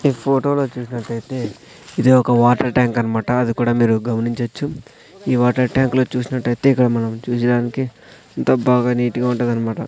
ఈ ఫోటో లో చూసినట్టయితే ఇది ఒక వాటర్ ట్యాంక్ అన్మాట అది కూడా మీరు గమనించోచ్చు. ఈ వాటర్ ట్యాంక్ లో చూసినట్లు అయితే ఇక్కడ మనం చూచిడానికి అంత బాగా నీట్ గా ఉంటదన్నమాట.